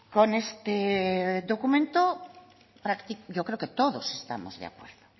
con este documento yo creo que todos estamos de acuerdo